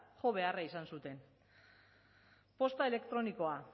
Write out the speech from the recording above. jo beharra izan zuten posta elektronikoa